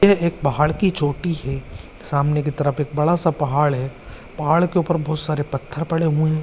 ये एक पहाड़ की चोटी है सामने की तरफ एक बड़ा सा पहाड़ है पहाड़ के ऊपर बहुत सारे पत्थर पड़े हुए है।